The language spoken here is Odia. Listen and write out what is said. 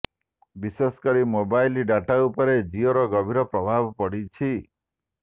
ବିଶେଷ କରି ମୋବାଇଲ ଡାଟା ଉପରେ ଜିଓର ଗଭୀର ପ୍ରଭାବ ପଡିଛି